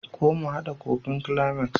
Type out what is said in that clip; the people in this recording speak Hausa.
ko mu hada kufin climax?